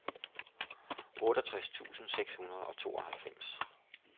otteogtres tusind seks hundrede og tooghalvfems